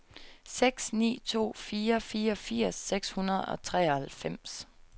seks ni to fire fireogfirs seks hundrede og treoghalvfems